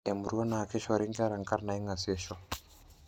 Emurua naa keishori nkera nkarn naingaseisho.